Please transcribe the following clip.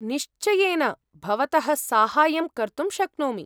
निश्चयेन, भवतः साहाय्यं कर्तुं शक्नोमि।